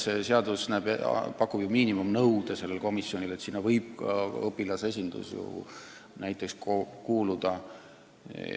Nimelt, see eelnõu pakub ju välja komisjoni miinimumkoosseisu, sinna võivad lisaks ka õpilaste ja samamoodi lapsevanemate kogu esindajad kuuluda.